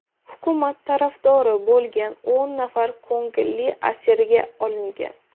Hukumat tarafdori bo‘lgan o‘n nafar ko‘ngilli asirga olingan.